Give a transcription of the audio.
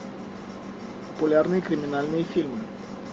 популярные криминальные фильмы